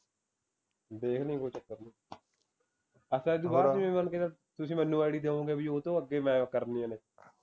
ਵੇਖ ਲੀ ਕੋਈ ਚੱਕਰ ਨੀ ਆਹ ਕਿਵੇਂ ਤੁਸੀਂ ਮੈਨੂੰ ਦਿਉਗੇ ਬਈ ਉਹ ਤੋਂ ਅੱਗੇ ਮੈਂ ਕਰਨੀਆਂ ਨੇ